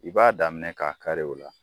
I b'a daminɛ k'a kari o la.